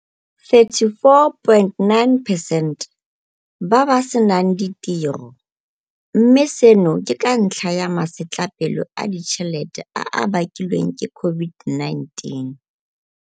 34.9 percent ba ba senang ditiro, mme seno ke ka ntlha ya masetlapelo a ditšhelete a a bakilweng ke COVID-19.